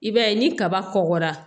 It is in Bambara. I b'a ye ni kaba kɔkɔra